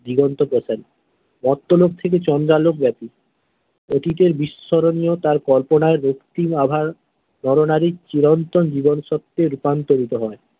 দিগন্ত প্রসারী মর্তলোকে থেকে চন্দ্রালোক ব্যাপি অতীতের বিস্মরণীয় তাঁর কল্পনায় রক্তিম অভায় নর নারীর চিরন্তন জীবন সত্যে রূপান্তরিত হয়।